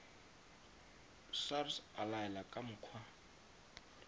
sars a laela ka mokgwa